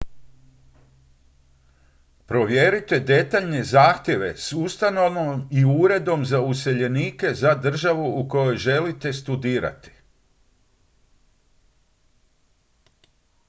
provjerite detaljne zahtjeve s ustanovom i uredom za useljenike za državu u kojoj želite studirati